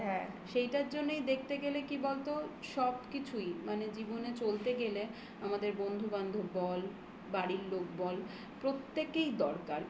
হ্যাঁ এটার জন্যই দেখতে গেলে কি বলতো সব কিছুই মানে জীবনে চলতে গেলে আমাদের বন্ধু বান্ধব বল তাদের বাড়ির লোক বল প্রত্যেকেই দরকার.